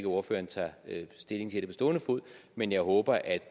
ordføreren tager stilling til det på stående fod men jeg håber at